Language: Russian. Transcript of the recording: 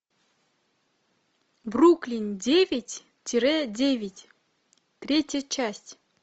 бруклин девять тире девять третья часть